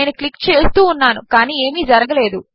నేనుక్లిక్చేస్తూఉన్నానుకానిఏమిజరగలేదు